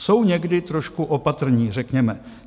Jsou někdy trošku opatrní, řekněme.